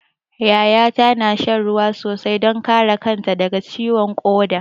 Yaya ta na shan ruwa sosai don kare kanta daga ciwon ƙoda.